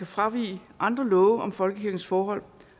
fravige andre love om folkekirkens forhold